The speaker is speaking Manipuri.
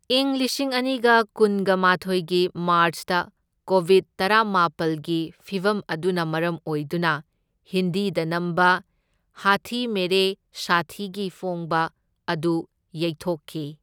ꯏꯪ ꯂꯤꯁꯤꯡ ꯑꯅꯤꯒ ꯀꯨꯟꯒ ꯃꯥꯊꯣꯢꯒꯤ ꯃꯥꯔꯆꯇ, ꯀꯣꯕꯤꯗ ꯇꯔꯥꯃꯥꯄꯜꯒꯤ ꯐꯤꯚꯝ ꯑꯗꯨꯅ ꯃꯔꯝ ꯑꯣꯏꯗꯨꯅ ꯍꯤꯟꯗꯤꯗ ꯅꯝꯕ ꯍꯥꯊꯤ ꯃꯦꯔꯦ ꯁꯥꯊꯤꯒꯤ ꯐꯣꯡꯕ ꯑꯗꯨ ꯌꯩꯊꯣꯛꯈꯤ꯫